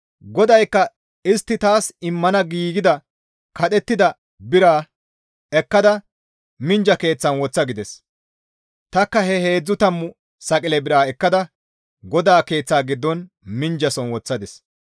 GODAYKKA istti taas immana giigida kadhettida bira ekkada, «Minjja keeththan woththa!» gides. Tanikka he heedzdzu tammu saqile biraa ekkada GODAA Keeththa giddon minjjason woththadis.